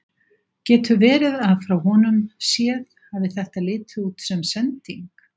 Getur verið að frá honum séð hafi þetta litið út sem sending?